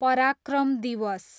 पराक्रम दिवस